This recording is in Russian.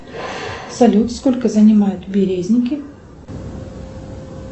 салют сколько занимают березники